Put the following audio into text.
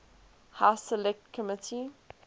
house select committee